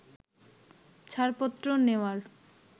ছাড়পত্র নেওয়ার